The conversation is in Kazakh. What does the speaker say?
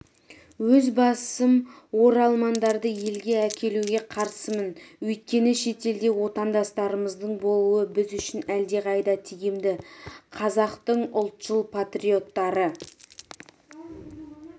өз басым оралмандарды елге әкелуге қарсымын өйткені шетелде отандастарымыздың болуы біз үшін әлдеқайда тиімді қазақтың ұлтшыл-патриоттары